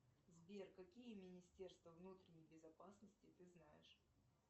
сбер какие министерства внутренней безопасности ты знаешь